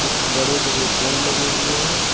कुछ बड़े बड़े पेड़ लगे हुए हैं।